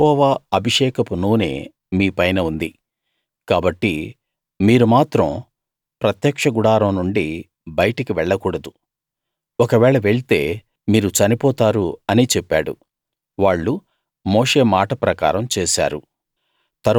యెహోవా అభిషేకపు నూనె మీపైన ఉంది కాబట్టి మీరు మాత్రం ప్రత్యక్ష గుడారం నుండి బయటకి వెళ్ళకూడదు ఒకవేళ వెళ్తే మీరు చనిపోతారు అని చెప్పాడు వాళ్ళు మోషే మాట ప్రకారం చేశారు